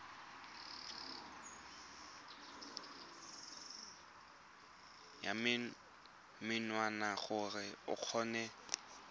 ya menwana gore o kgone